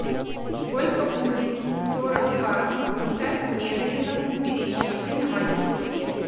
сколько будет сорок два фунта стерлингов в пересчете на валюту песо